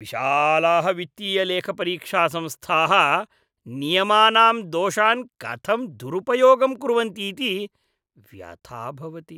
विशालाः वित्तीयलेखपरीक्षासंस्थाः नियमानां दोषान् कथं दुरुपयोगं कुर्वन्तीति व्यथा भवति।